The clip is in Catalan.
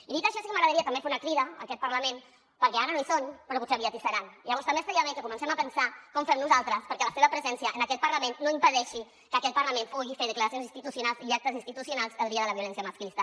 i dit això sí que m’agradaria també fer una crida a aquest parlament perquè ara no hi són però potser aviat hi seran llavors també estaria bé que comencem a pensar com ho fem nosaltres perquè la seva presència en aquest parlament no impedeixi que aquest parlament pugui fer declaracions institucionals i actes institucionals el dia de la violència masclista